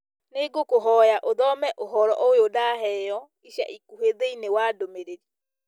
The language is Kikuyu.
nĩ ngũkũhoya ũthome ũhoro ũyũ ndaheo ica ikuhĩ thĩiniĩ wa ndũmĩrĩri